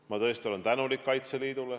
Ma olen tõesti tänulik Kaitseliidule.